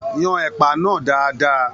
Yàn ẹpa náà dáadáa!